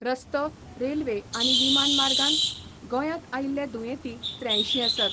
रस्तो, रेल्वे आनी विमान मार्गान गोंयात आयिल्ले दुयेंती त्र्यांयशी आसात.